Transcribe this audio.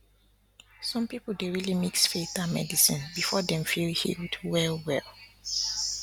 some people dey really mix faith and medicine before dem feel healed well well